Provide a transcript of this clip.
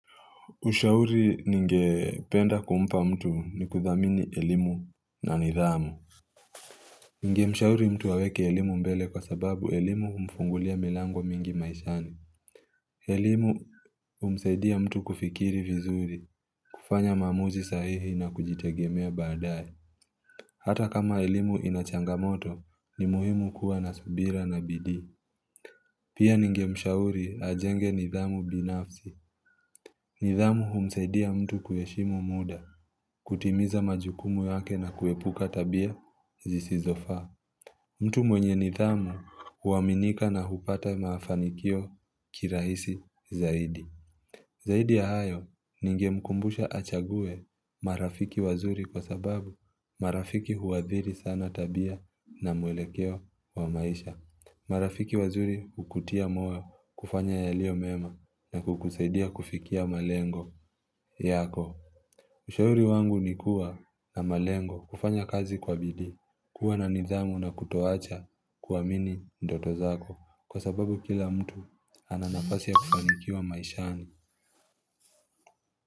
Ushauri ningependa kumpa mtu ni kuthamini elimu na nidhamu. Ningemshauri mtu aweke elimu mbele kwa sababu elimu humfungulia milango mingi maishani. Elimu humsaidia mtu kufikiri vizuri, kufanya maamuzi sahihi na kujitegemea baadaye. Hata kama elimu ina changamoto, ni muhimu kuwa na subira na bidii. Pia ningemshauri ajenge nidhamu binafsi. Nidhamu humsaidia mtu kuheshimu muda. Kutimiza majukumu yake na kuepuka tabia zisizofaa. Mtu mwenye nidhamu huaminika na hupata mafanikio kirahisi zaidi Zaidi ya hayo ningemkumbusha achague marafiki wazuri kwa sababu marafiki huathiri sana tabia na mwelekeo wa maisha. Marafiki wazuri hukutia moyo kufanya yalio mema na kukuseidia kufikia malengo yako Ushauri wangu ni kuwa na malengo kufanya kazi kwa bidii, kuwa na nidhamu na kutoacha kuamini ndoto zako kwa sababu kila mtu ana nafasi ya kufanikiwa maishani.